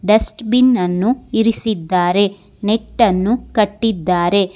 Dust bin ಅನ್ನು ಇರಿಸಿದ್ದಾರೆ net ಅನ್ನು ಕಟ್ಟಿದ್ದಾರೆ.